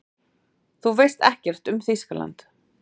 Þú veist ekkert um Þýskaland.